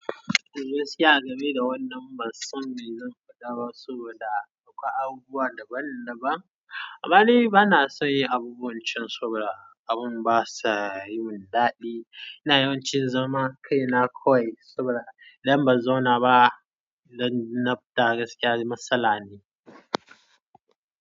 Eh, gaskiya a game da wannan bansan me zan faɗa baa saboda akwai abubuwa daban-daban. Amma ni bana son yin abubuwan cin soɓoɗa, abun basa yi mun daɗi. Ina yawan cin zama, kai na kwai soɓoɗa. Idan ban zauna ba, zan naftara gaskiya matsala ne.